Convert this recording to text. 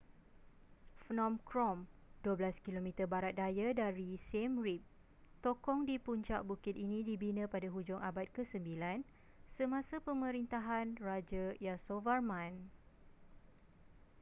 phnom krom 12km barat daya dari siem reap tokong di puncak bukit ini dibina pada hujung abad ke-9 semasa pemerintahan raja yasovarman